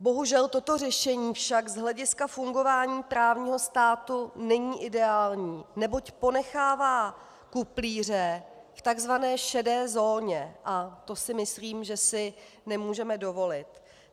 Bohužel toto řešení však z hlediska fungování právního státu není ideální, neboť ponechává kuplíře v tzv. šedé zóně a to si myslím, že si nemůžeme dovolit.